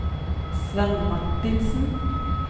Svend Martinsen